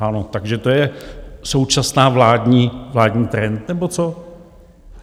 Ano, takže to je současný vládní trend nebo co?